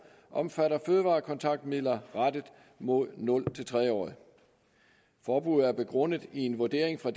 omfatter fødevarekontaktmidler rettet mod nul tre årige forbuddet er begrundet i en vurdering fra